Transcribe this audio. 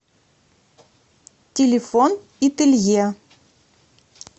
телефон ителье